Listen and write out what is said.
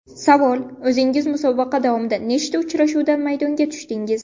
Savol: O‘zingiz musobaqa davomida nechta uchrashuvda maydonga tushdingiz?